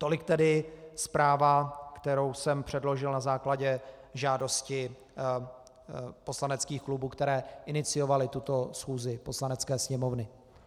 Tolik tedy zpráva, kterou jsem předložil na základě žádosti poslaneckých klubů, které iniciovaly tuto schůzi Poslanecké sněmovny.